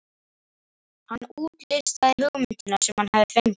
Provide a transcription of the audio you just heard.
Hann útlistaði hugmyndina sem hann hafði fengið.